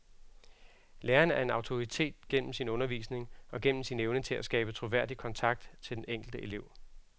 Læreren er en autoritet gennem sin undervisning og gennem sin evne til at skabe troværdig kontakt til den enkelte elev.